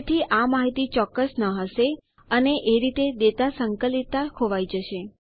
તેથી આ માહિતી ચોક્કસ ન હશે અને એ રીતે ડેટા સંકલિતતા ખોવાય જશે